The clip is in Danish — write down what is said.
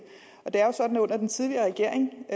det er sådan at under den tidligere regering